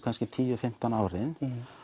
tíu til fimmtán árin